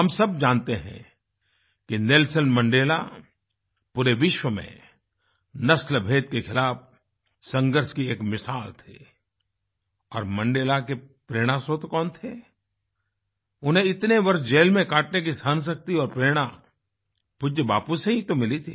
हम सब जानते हैं कि नेल्सन मंडेला पूरे विश्व में नस्लभेद के खिलाफ संघर्ष की एक मिसाल थे और मंडेला के प्रेरणास्रोत कौन थे उन्हें इतने वर्ष जेल में काटने की सहनशक्ति और प्रेरणा पूज्य बापू से ही तो मिली थी